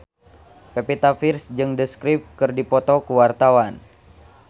Pevita Pearce jeung The Script keur dipoto ku wartawan